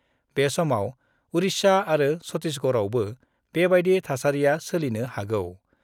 बे समाव उरिष्या आरो छत्तिसगड़आवबो बेबायदि थासारिया सोलिनो हागौ।